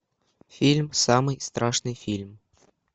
фильм самый страшный фильм